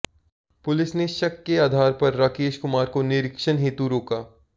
police ने शक के आधार पर राकेश कुमार को निरीक्षण हेतु रोका